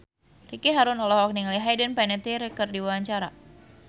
Ricky Harun olohok ningali Hayden Panettiere keur diwawancara